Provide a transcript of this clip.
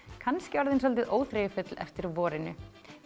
kannski orðin svolítið óþreyjufull eftir vorinu